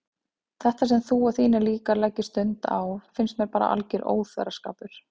Þetta sem þú og þínir líkar leggið stund á finnst mér bara alger óþverraskapur.